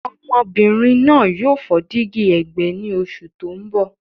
Ọmọbìnrin náà yóò fọ́ dígí ẹ̀gbẹ́ ní oṣù tó ń bọ̀.